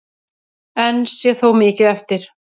Enn sé þó mikið eftir.